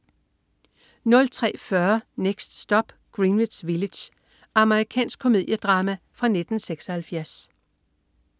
03.40 Next Stop, Greenwich Village. Amerikansk komediedrama fra 1976